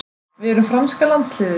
Við erum franska landsliðið.